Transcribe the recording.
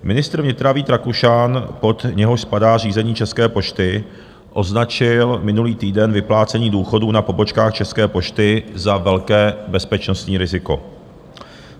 Ministr vnitra Vít Rakušan, pod něhož spadá řízení České pošty, označil minulý týden vyplácení důchodů na pobočkách České pošty za velké bezpečnostní riziko.